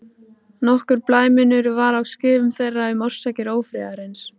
Nokkur blæmunur var á skrifum þeirra um orsakir ófriðarins.